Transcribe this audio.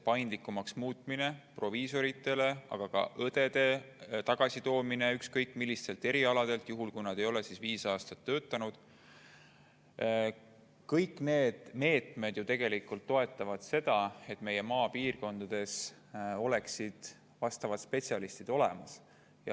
Proviisorite paindlikumaks muutmine, aga ka õdede tagasitoomine ükskõik millistelt erialadelt, juhul kui nad ei ole viis aastat töötanud – kõik need meetmed ju toetavad seda, et maapiirkondades oleksid vastavad spetsialistid olemas.